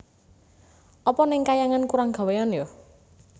Apa neng kahyangan kurang gawéan ya